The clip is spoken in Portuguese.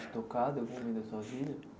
Te tocado em algum da sua vida?